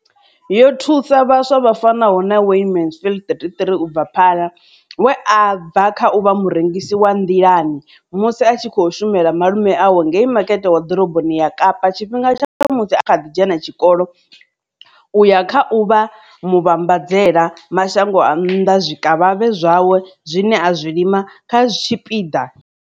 Yo thusa vhaswa vha fanaho na Wayne Mansfield, 33, u bva Paarl, we a bva kha u vha murengisi wa nḓilani, i musi a tshi khou shumela malume awe ngei Makete wa Ḓoroboni ya Kapa tshifhinga tsha musi a kha ḓi dzhena tshikolo u ya kha u vha muvhambadzela mashango a nnḓa zwikavhavhe zwawe zwine a zwi lima kha tshipiḓa.